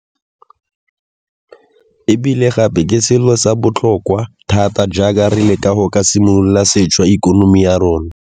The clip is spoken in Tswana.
E bile gape ke selo sa botlhokwa thata jaaka re leka go ka simolola sešwa ikonomi ya rona.